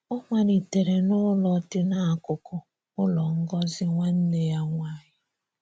Ọ malitere n’ụlọ dị n’akụkụ ụlọ Ngozi nwanne ya nwaanyị.